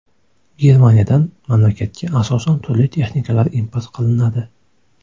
Germaniyadan mamlakatga asosan turli texnikalar import qilinadi.